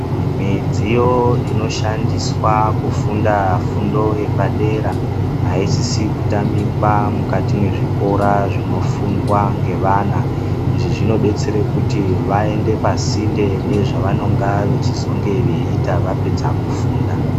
Midziyo inoshandiswa kufunda fundo yepadera aisisi kutamikwa mukati mwezvikora zvinofundwa ngevana. Izvi zvinobetsere kuti vaende pasinde nezvavanonga veiita vapedza kufunda.